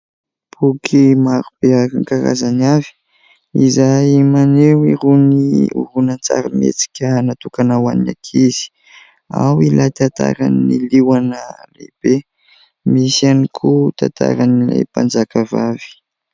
Boky maro be amin'ny karazany avy ; izay maneho irony horonantsary mietsika natokana ho any ankizy. Ao ilay tantaran'ny liona lehibe ; misy ihany koa tantaran'ilay mpanjakavavy.